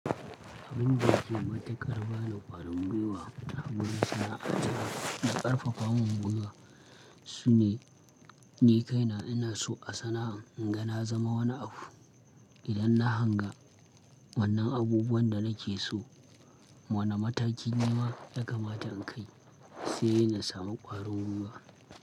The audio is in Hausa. Abin da yake matuƙar ba ni ƙwarin gwiwa a gurin sana'a ta da ƙarfafa mun gwiwa. Shi ne, ni kaina ina so a sana'an inga na zama wani abu. Idan na hanga wannan abubuwan da nake so, wani mataki nima ya kamata in kai sai na samu ƙwarin gwiwa.